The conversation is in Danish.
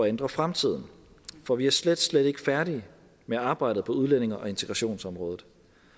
ændre fremtiden for vi er slet slet ikke færdige med arbejdet på udlændinge og integrationsområdet